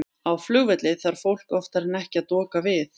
Á flugvelli þarf fólk oftar en ekki að doka við.